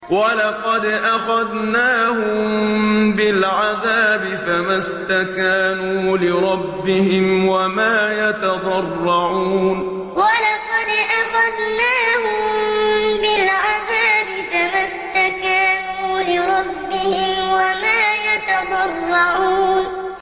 وَلَقَدْ أَخَذْنَاهُم بِالْعَذَابِ فَمَا اسْتَكَانُوا لِرَبِّهِمْ وَمَا يَتَضَرَّعُونَ وَلَقَدْ أَخَذْنَاهُم بِالْعَذَابِ فَمَا اسْتَكَانُوا لِرَبِّهِمْ وَمَا يَتَضَرَّعُونَ